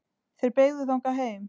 Þeir beygðu þangað heim.